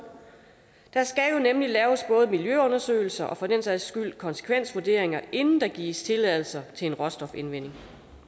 der skal jo nemlig laves både miljøundersøgelser og for den sags skyld konsekvensvurderinger inden der gives tilladelse til en råstofindvinding